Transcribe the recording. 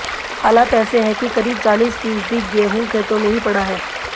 हालात ऐसे है करीब चालीस फीसदी गेहूं खेतों में ही पड़ा है